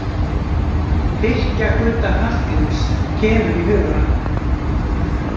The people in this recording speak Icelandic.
Tyrkja-Gudda Hallgríms kemur í hugann.